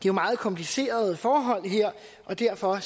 er meget komplicerede forhold derfor